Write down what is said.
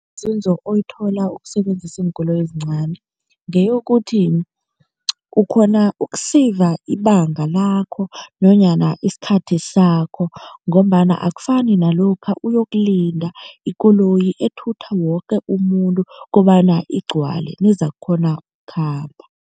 Oyithola ukusebenzisa iinkoloyi ezincani ngeyokuthi, ukghona ukuseyiva ibanga lakho nanyana isikhathi sakho ngombana akufani nalokha uyokulinda ikoloyi ethutha woke umuntu kobana igcwale nizakukghona ukukhamba.